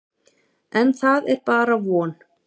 En það er bara von.